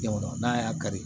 Jamana n'a y'a kari